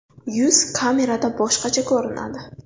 Yuz kamerada boshqacha ko‘rinadi.